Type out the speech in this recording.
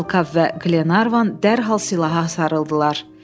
Talkav və Glenarvan dərhal silaha sarıldılar.